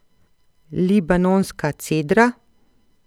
Libanonska cedra?